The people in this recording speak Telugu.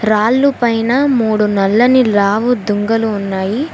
రాళ్ళు పైన మూడు నల్లని లావు దుంగలు ఉన్నాయి.